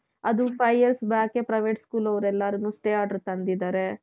ಅದು five years backಎ private school ಅವರೆಲ್ಲಾರಿಗೂ stay order ತಂದಿದ್ದಾರೆ .